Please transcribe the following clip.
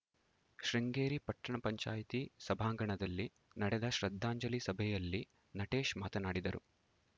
ಶೃಂಗೇರಿ ಪಟ್ಟಣ ಪಂಚಾಯತಿ ಸಭಾಂಗಣದಲ್ಲಿ ನಡೆದ ಶ್ರದ್ಧಾಂಜಲಿ ಸಭೆಯಲ್ಲಿ ನಟೇಶ್‌ ಮಾತನಾಡಿದರು